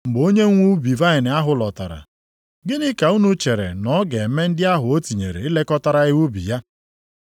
“Mgbe onye nwe ubi vaịnị ahụ lọtara, gịnị ka unu chere na ọ ga-eme ndị ahụ o tinyere ilekọtara ya ubi ya?”